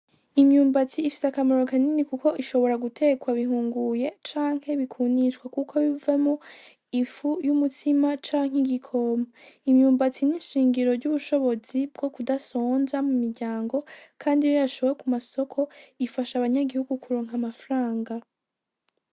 Imyumbati ifise akamaro kanini kuko ishobora gutekwa bihunguye canke bikumishwa kuko bivamwo ifu y'umutsima canke igikoma, imyumbati nishingiro ry'ubushobozi bwo kudasonza mu miryango kandi iyo yashowe mu masoko ifasha abanyagihugu kuronka amafaranga.